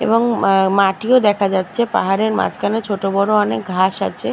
এবং এএএএ মাটিও ও দেখা যাচ্ছে পাহাড়ে মাঝখানে ছোটবড় অনেক ঘাস আছে।